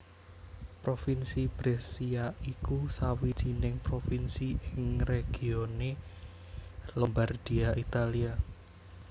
Provinsi Brescia iku sawijining Provinsi ing regione Lombardia Italia